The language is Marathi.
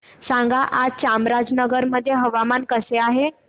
सांगा आज चामराजनगर मध्ये हवामान कसे आहे